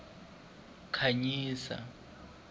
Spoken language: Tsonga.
khanyisa